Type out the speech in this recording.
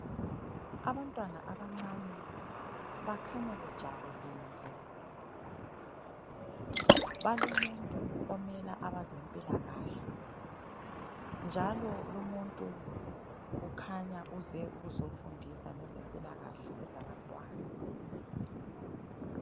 Abantwana abancane bakhanya bejabulile balomuntu omela abezempilakahle njalo lumuntu ukhanya uze ukuzofundisa ngezempilakahle ezabantwana.